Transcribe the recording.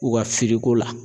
U ka firiko la.